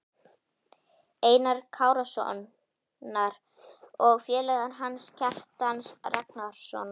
Einars Kárasonar, og félaga hans, Kjartans Ragnarssonar.